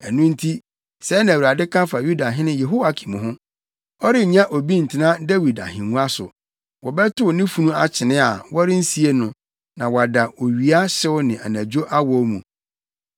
Ɛno nti, sɛɛ na Awurade ka fa Yudahene Yehoiakim ho: Ɔrennya obi ntena Dawid ahengua so. Wɔbɛtow ne funu akyene a, wɔrensie no, na wada owia hyew ne anadwo awɔw mu.